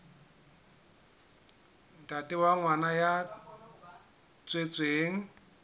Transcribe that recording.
ntate wa ngwana ya tswetsweng